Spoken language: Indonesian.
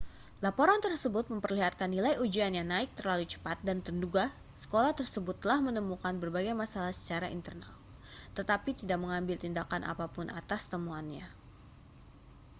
laporan tersebut memperlihatkan nilai ujian yang naik terlalu cepat dan menduga sekolah tersebut telah menemukan berbagai masalah secara internal tetapi tidak mengambil tindakan apa pun atas temuannya